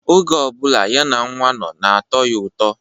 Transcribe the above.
Oge ọ bụla ya na nwa nno na-atọ ya ụtọ.